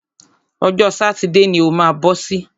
Ọjọ́ sátidé ni o má bọ́ sí.